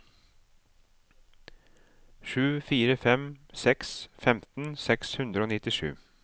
sju fire fem seks femten seks hundre og nittisju